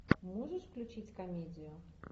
можешь включить комедию